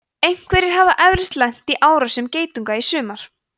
einhverjir hafa eflaust lent í árásum geitunga á sumrin